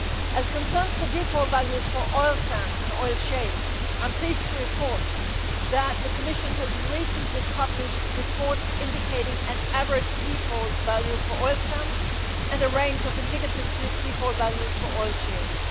As concerns the default values for oil sands and oil shale, I am pleased to report that the Commission has recently published reports indicating an average default value for oil sands and a range of indicative default values for oil shales.